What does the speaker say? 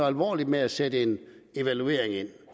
alvorligt med at sætte en evaluering ind